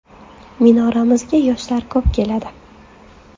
Minoramizga yoshlar ko‘p keladi.